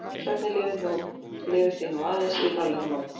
Sögnin lifir því nú aðeins í Norðurlandamálum.